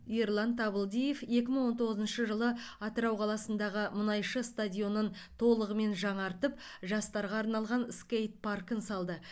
ерлан табылдиев екі мың он тоғызыншы жылы атырау қаласындағы мұнайшы стадионын толығымен жаңартып жастарға арналған скейт паркін салды